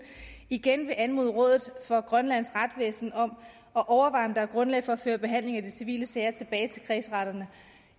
igen vil anmode rådet for grønlands retsvæsen om at overveje om der er grundlag for at føre behandlingen af de civile sager tilbage til kredsretterne